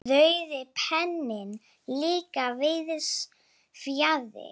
Rauði penninn líka víðs fjarri.